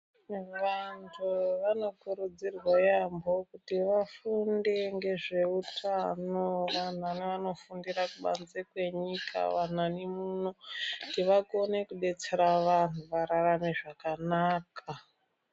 Vantu vanokurudzirwe yaampo kuti vafunde ngezveutano vanani vanofundirw kubanze kwenyika vanani muno kuti vakone kudetsera vantu vararame zvakanaka.